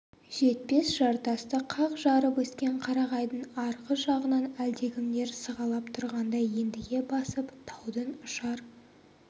жетпес жартасты қақ жарып өскен қарағайдың арғы жағынан әлдекімдер сығалап тұрғандай ентіге басып таудың ұшар